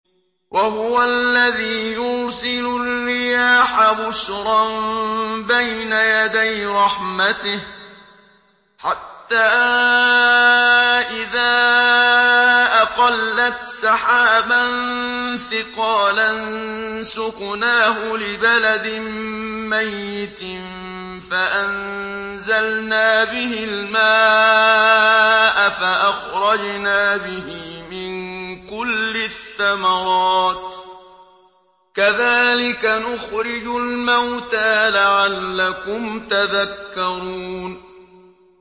وَهُوَ الَّذِي يُرْسِلُ الرِّيَاحَ بُشْرًا بَيْنَ يَدَيْ رَحْمَتِهِ ۖ حَتَّىٰ إِذَا أَقَلَّتْ سَحَابًا ثِقَالًا سُقْنَاهُ لِبَلَدٍ مَّيِّتٍ فَأَنزَلْنَا بِهِ الْمَاءَ فَأَخْرَجْنَا بِهِ مِن كُلِّ الثَّمَرَاتِ ۚ كَذَٰلِكَ نُخْرِجُ الْمَوْتَىٰ لَعَلَّكُمْ تَذَكَّرُونَ